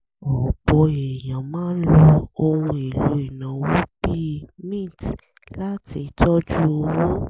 ọ̀pọ̀ èèyàn máa ń lo ohun èlò ìnáwó bíi mint láti tọ́jú owó